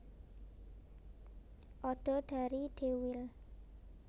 Odo dari Deuil